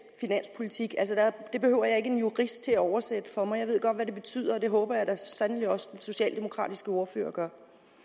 finanspolitik det behøver jeg ikke en jurist til at oversætte for mig jeg ved godt hvad det betyder og det håber jeg da så sandelig også den socialdemokratiske ordfører gør